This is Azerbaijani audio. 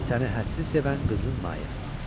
Səni hədsiz sevən qızın Maya.